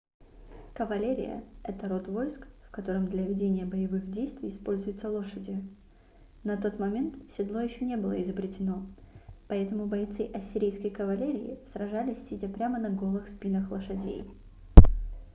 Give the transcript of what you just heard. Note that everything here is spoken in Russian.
кавалерия это род войск в котором для ведения боевых действий используются лошади на тот момент седло еще не было изобретено поэтому бойцы ассирийской кавалерии сражались сидя прямо на голых спинах лошадей